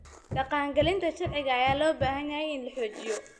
Dhaqangelinta sharciga ayaa loo baahan yahay in la xoojiyo.